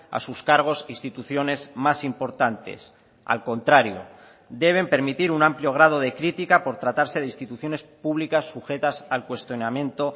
a sus cargos instituciones más importantes al contrario deben permitir un amplio grado de crítica por tratarse de instituciones públicas sujetas al cuestionamiento